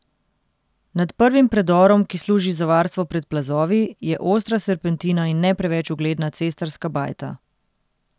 Nad prvim predorom, ki služi za varstvo pred plazovi je ostra serpentina in ne preveč ugledna cestarska bajta.